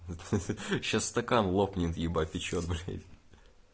ха-ха сейчас стакан лопнет ебать ты чего блядь